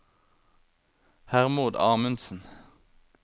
Hermod Amundsen